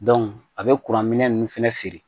a bɛ kuranminɛn ninnu fana feere